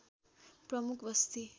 प्रमुख बस्ती